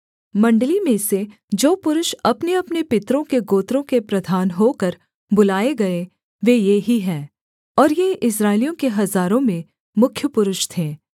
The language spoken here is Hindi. मण्डली में से जो पुरुष अपनेअपने पितरों के गोत्रों के प्रधान होकर बुलाए गए वे ये ही हैं और ये इस्राएलियों के हजारों में मुख्य पुरुष थे